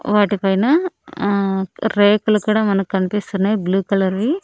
వాటిపైన ఆ రేకులు కూడా మనకన్పిస్తున్నాయ్ బ్లూ కలర్ వి .